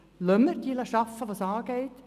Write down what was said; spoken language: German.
Lassen wir diejenigen arbeiten, die es angeht.